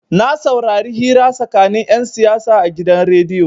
Na saurari hira tsakanin 'yan siyasa a gidan rediyo.